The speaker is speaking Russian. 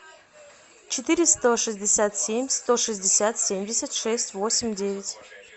четыре сто шестьдесят семь сто шестьдесят семьдесят шесть восемь девять